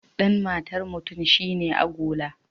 Dan matar mutum shi ne agola.